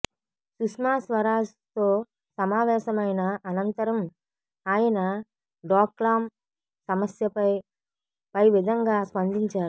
సుష్మా స్వరాజ్తో సమావేశమైన అనంతరం ఆయన డోక్లాం సమస్యపై పైవిధంగా స్పందించారు